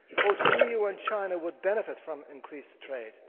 Both the EU and China would benefit from increased